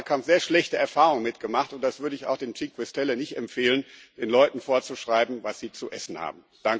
im Wahlkampf sehr schlechte Erfahrungen gemacht, und das würde ich auch dem Movimento 5 Stelle nicht empfehlen, den Leuten vorzuschreiben, was sie zu essen haben.